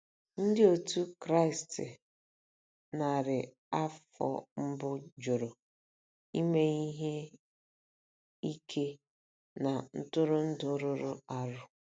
Ndị Otú Kristi narị afọ mbụ jụrụ ime ihe ike na ntụrụndụ rụrụ arụ